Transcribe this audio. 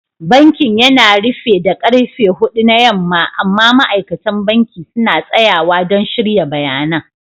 Bankin yana rufe da karfe hudu na yamma amma ma'aikatan banki suna tsayawa don shirya bayanan.